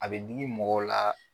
A bɛ digi mɔgɔw la